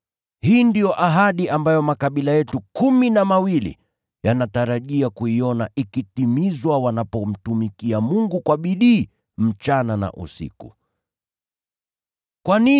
Hii ndiyo ahadi ambayo makabila yetu kumi na mawili yanatarajia kuiona ikitimizwa wanapomtumikia Mungu kwa bidii usiku na mchana. Ee mfalme, ninashtakiwa na Wayahudi kwa ajili ya tumaini hili.